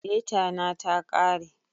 Deta na ta kare